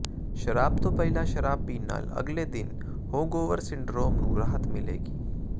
ਸ਼ਰਾਬ ਤੋਂ ਪਹਿਲਾਂ ਸ਼ਰਾਬ ਪੀਣ ਨਾਲ ਅਗਲੇ ਦਿਨ ਹੋਗਓਵਰ ਸਿੰਡਰੋਮ ਨੂੰ ਰਾਹਤ ਮਿਲੇਗੀ